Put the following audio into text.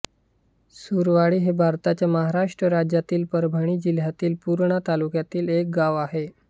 सुरवाडी हे भारताच्या महाराष्ट्र राज्यातील परभणी जिल्ह्यातील पूर्णा तालुक्यातील एक गाव आहे